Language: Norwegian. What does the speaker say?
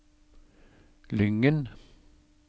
Lyngen